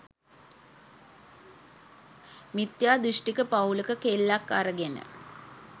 මිත්‍යා දෘෂ්ටික පවුලක කෙල්ලෙක් අරගෙන